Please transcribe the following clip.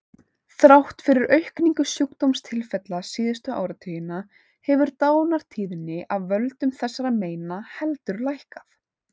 Þrátt fyrir aukningu sjúkdómstilfella síðustu áratugina hefur dánartíðni af völdum þessara meina heldur lækkað.